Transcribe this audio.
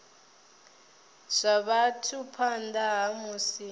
zwa vhathu phanḓa ha musi